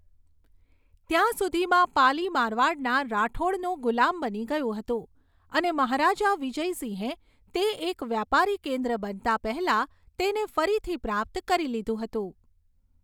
ત્યાં સુધીમાં, પાલી મારવાડના રાઠોડનું ગુલામ બની ગયું હતું અને મહારાજા વિજયસિંહે તે એક વ્યાપારી કેન્દ્ર બનતાં પહેલાં તેને ફરીથી પ્રાપ્ત કરી લીધું હતું.